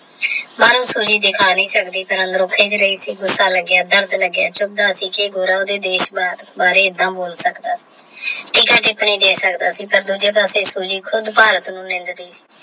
ਬਾਹਰੋਂ Soji ਦਿਖਾ ਨਹੀਂ ਸਕਦੀ ਸੀ ਪਰ ਅੰਦਰੋਂ ਖਿੱਝ ਰਹੀ ਸੀ ਗੁੱਸਾ ਲੱਗਿਆ ਦਰਦ ਲੱਗਿਆ ਚੁੱਭਦਾ ਸੀ ਕੀ ਗੋਰਾ ਉਹਦੇ ਦੇਸ਼ ਬਾਰੇ ਐਦਾਂ ਬੋਲ ਸਕਦਾ ਟਿੱਪਣੀ ਦੇ ਸਕਦਾ ਹੈ ਪਰ ਦੂਜੇ ਪਾਸੇ Soji ਖੁੱਦ ਭਾਰਤ ਨੂੰ